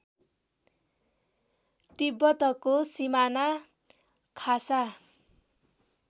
तिब्बतको सिमाना खासा